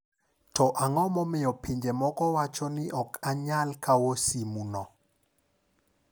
To ang'o momiyo pinje moko wacho ni ok anyal kawo simu no?